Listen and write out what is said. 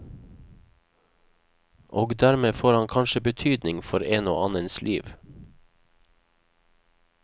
Og dermed får han kanskje betydning for en og annens liv.